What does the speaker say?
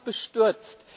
Das hat mich bestürzt.